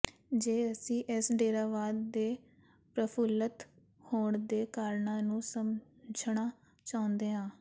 ਜੇ ਅਸੀਂ ਇਸ ਡੇਰਾਵਾਦ ਦੇ ਪ੍ਰਫੁਲਤ ਹੋਣ ਦੇ ਕਾਰਨਾਂ ਨੂੰ ਸਮਝਣਾ ਚਾਹੁੰਦੇ ਹਾਂ